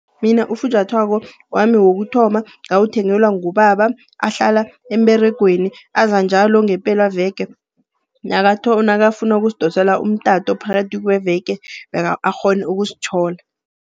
Mina ufunjathwako wami wokuthoma ngawuthengelwa ngubaba, ahlala emberegweni. Aza njalo ngepelaveke, nakafuna ukusidosela umtato phakathi kweveke akghone ukusithola.